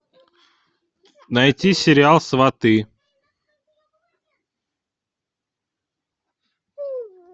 найти сериал сваты